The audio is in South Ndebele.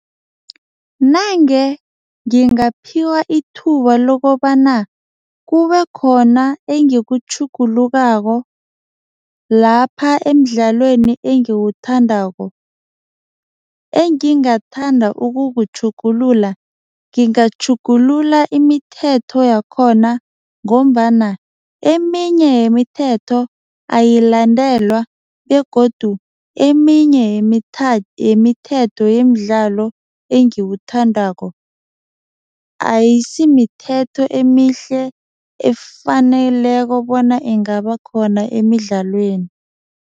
Nange ngingaphiwa ithuba lokobana, kubekhona engikutjhugulukako lapha emidlalweni engiwuthandako, engingathanda ukukutjhugulula, ngingatjhugulula imithetho yakhona ngombana eminye yemithetho ayilandelwa begodu eminye yemithetho yemidlalo engiwuthandako, ayisimithetho emihle efaneleko bona ingaba khona emidlalweni.